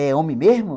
É homem mesmo?